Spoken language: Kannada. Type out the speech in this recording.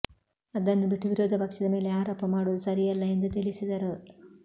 ಅದನ್ನು ಬಿಟ್ಟು ವಿರೋಧ ಪಕ್ಷದ ಮೇಲೆ ಆರೋಪ ಮಾಡುವುದು ಸರಿಯಲ್ಲ ಎಂದು ತಿಳಿಸಿದರು